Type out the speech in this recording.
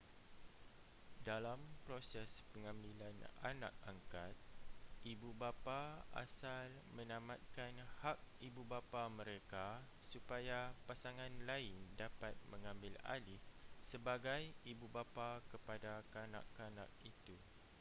dalam proses pengambilan anak angkat ibu bapa asal menamatkan hak ibubapa mereka supaya pasangan lain dapat mengambil alih sebagai ibubapa kepada kanak-kanak itu